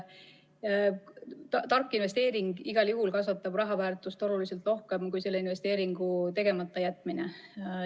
Tark investeering igal juhul kasvatab raha väärtust oluliselt rohkem kui selle investeeringu tegemata jätmine.